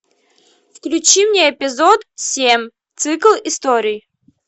включи мне эпизод семь цикл историй